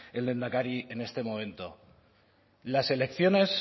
el lehendakari en este momento las elecciones